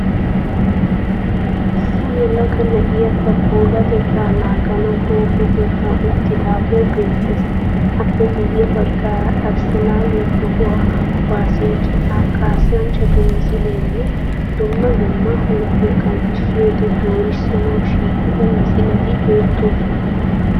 Issi yelaga na'ayi ba puulatetta naaganawu huuphe keettan uttidaagee beettees. Appe guye baggaara Arssenaaliya toho kuwaassiya citaa kaassanchchatu misileenne dumma huuphiya qanxxissiyoode doorissanawu shiiqida misileti beettoosona.